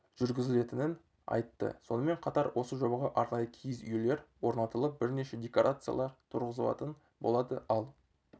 жүргізілетінін айтты сонымен қатар осы жобаға арнайы киіз үйлер орнатылып бірнеше декорациялар тұрғызылатын болады ал